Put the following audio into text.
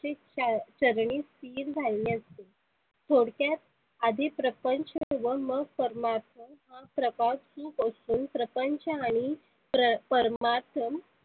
ची चरनी लिन झालेली असते. थोडक्यात आधी परपंच मग परमात्मा प्रपात सुख असुन प्रपंच आणि प्र परमार्थन